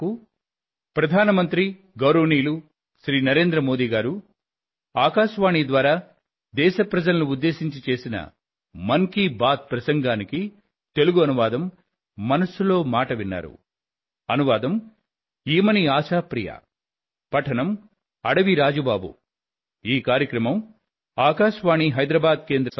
మీకు ఇవే నా ధన్యవాదాలు